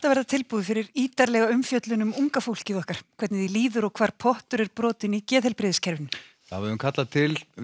verða tilbúið fyrir ítarlega umfjöllun um unga fólkið okkar hvernig því líður og hvar pottur er brotinn í geðheilbrigðiskerfinu við höfum kallað til